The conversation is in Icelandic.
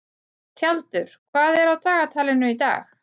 Tjaldur, hvað er á dagatalinu í dag?